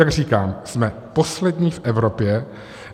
Jak říkám, jsme poslední v Evropě.